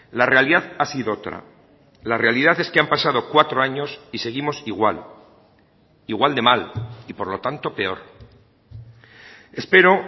la realidad ha sido otra la realidad es que han pasado cuatro años y seguimos igual igual de mal y por lo tanto peor espero